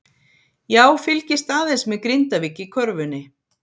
Já fylgist aðeins með Grindavík í körfunni.